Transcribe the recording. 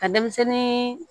Ka denmisɛnnin